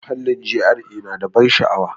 Muhallin GRA na da ban sha'awa.